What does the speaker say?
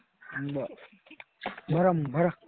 बरं. भरा भरा.